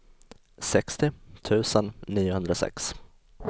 sextio tusen niohundrasex